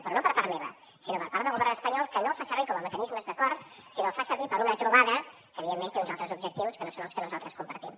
però no per part meva sinó per part del govern espanyol que no els fa servir com a mecanismes d’acord sinó que els fa servir per a una trobada que evidentment té uns altres objectius que no són els que nosaltres compartim